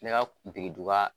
Ne ka kuntigi duga